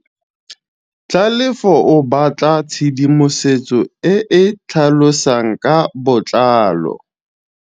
Tlhalefô o batla tshedimosetsô e e tlhalosang ka botlalô.